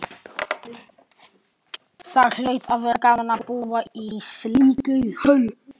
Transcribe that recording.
Það hlaut að vera gaman að búa í slíkri höll.